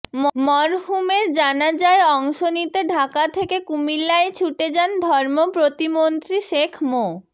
মরহুমের জানাজায় অংশ নিতে ঢাকা থেকে কুমিল্লায় ছুঁটে যান ধর্ম প্রতিমন্ত্রী শেখ মো